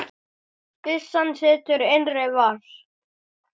Byssan situr í innri vas